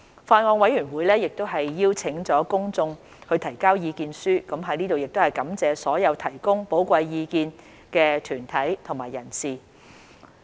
法案委員會亦邀請了公眾提交意見書，我在此亦感謝所有提供寶貴意見的團體和人士。